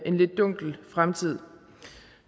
en lidt dunkel fremtid